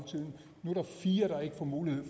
ro og